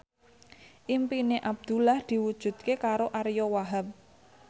impine Abdullah diwujudke karo Ariyo Wahab